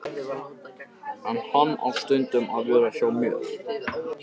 En hann á stundum að vera hjá mér.